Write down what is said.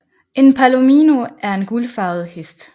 En palomino er en guldfarvet hest